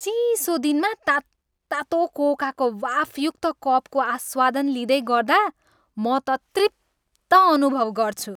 चिसो दिनमा तात्तातो कोकाको वाफयुक्त कपको आस्वादन लिँदै गर्दा म त तृप्त अनुभव गर्छु।